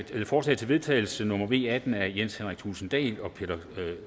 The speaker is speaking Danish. er forslag til vedtagelse nummer v atten af jens henrik thulesen dahl og peter